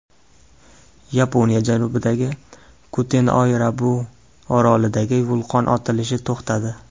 Yaponiya janubidagi Kutinoerabu orolidagi vulqon otilishi to‘xtadi.